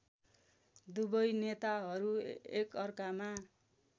दुवै नेताहरू एकअर्कामा